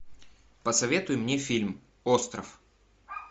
посоветуй мне фильм остров